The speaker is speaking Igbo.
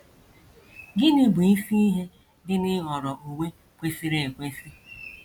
Gịnị Bụ Isi Ihe Dị n’Ịhọrọ Uwe Kwesịrị Ekwesị? ”